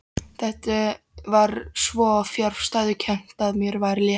Þetta var svo fjarstæðukennt að mér var létt.